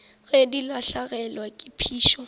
ge di lahlegelwa ke phišo